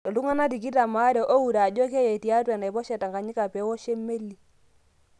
Ltunganak tikitam are oure ajo keye tiatua enaiposha e Tanganyika pee ewosho melii.